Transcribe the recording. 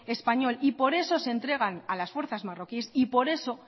español y por eso se entregan a las fuerzas marroquíes y por eso